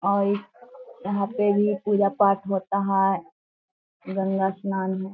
और यहां पर भी पूजा पाठ होता है। गंगा स्नान है।